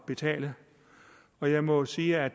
betale og jeg må sige at